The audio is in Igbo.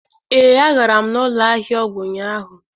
ee, agara m n'ụlọ ahịa ọgwụ ụnyahụ.